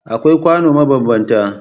Akwai kwano mabanbanta